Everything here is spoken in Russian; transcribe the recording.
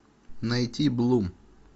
найти блум